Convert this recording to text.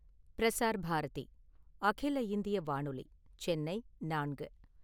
பிரஸார் பாரதி அகில இந்திய வானொலி , சென்னை நான்கு